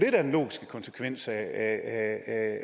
er den logiske konsekvens af